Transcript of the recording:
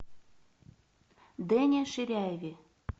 дэне ширяеве